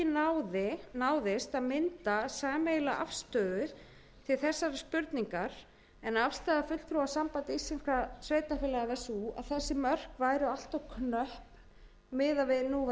náðist að mynda sameiginlega afstöðu til þessarar spurningar en afstaða fulltrúa sambands íslenskum sveitarfélaga var sú að þessi mörk væru allt of knöpp miðað við